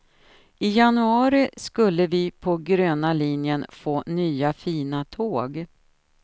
I januari skulle vi på gröna linjen få nya fina tåg.